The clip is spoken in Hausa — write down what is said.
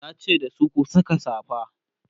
yace dasu "ku Saka safa!"